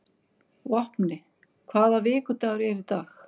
Vápni, hvaða vikudagur er í dag?